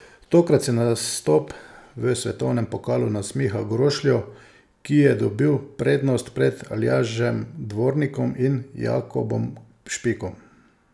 Tokrat se nastop v svetovnem pokalu nasmiha Grošlju, ki je dobil prednost pred Aljažem Dvornikom in Jakobom Špikom.